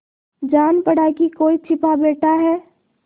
जान पड़ा कि कोई छिपा बैठा है